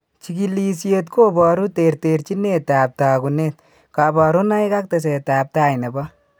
Chigilisiet koboru terterchinetab tagunet, kabarunaik ak tesetab tai nebo